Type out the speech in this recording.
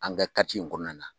An ka in kɔnɔna na.